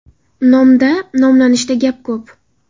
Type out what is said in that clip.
Nomda, nomlanishda gap ko‘p!